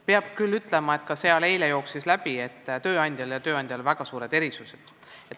Peab küll ütlema, et ka eile käis seal läbi mõte, et tööandjad on väga erinevad.